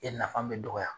E nafa bɛ dɔgɔya